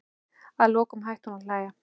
Að lokum hætti hún að hlæja.